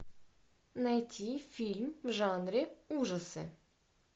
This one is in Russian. найти фильм в жанре ужасы